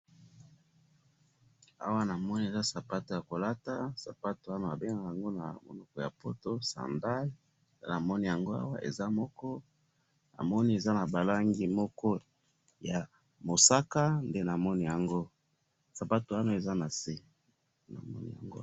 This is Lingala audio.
Awa namoni eza sapato yakolata, sapato wana babengaka yango na munoko yapoto sandale, nde namoni yango awa, eza moko, namoni eza nabalangi moko yamusaka, ndenamoni yango, sapato wana eza nase.